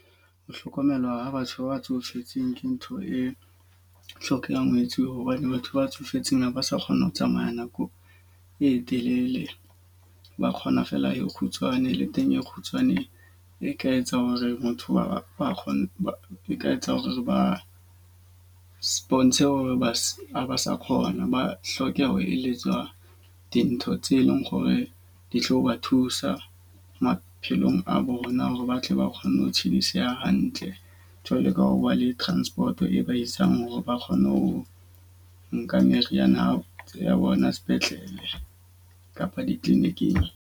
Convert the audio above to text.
Ho hlokomelwa ya batho ba tsofetseng ke ntho e hlokehang ho etsuwa. Hobane batho ba tsofetseng ha ba sa kgona ho tsamaya nako e telele, ba kgona feela e kgutshwane le teng e kgutshwane e ka etsang hore motho wa kgona ba ka etsa hore ba sponsor hore ba se ba sa kgona. Ba hlokeho eletswa dintho tse leng hore di tlo ba thusa maphelong a bona hore batle ba kgone ho tshidiseha hantle. Jwalo ka ho bua le transport e ba isang hore ba kgone ho nka meriana ya hao ya bona sepetlele kapa di-clinic-ing.